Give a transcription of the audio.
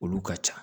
Olu ka ca